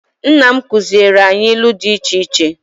Nna m kụziere anyị ilu dị iche iche.